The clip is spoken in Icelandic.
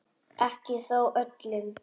Ekki þó öllum.